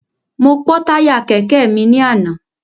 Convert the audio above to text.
Mo pọ́ táyà kẹ̀kẹ́ mi ní àná.